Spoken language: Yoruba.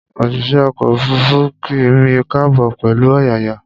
Òṣìṣẹ́ ọkọ̀ òfuruufú kí mi káàbọ̀ pẹ̀lú ọ̀yàyà